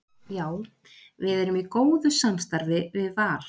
Já við erum í góðu samstarfi við Val.